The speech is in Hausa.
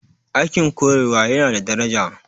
Aikin koyarwa yana da daraja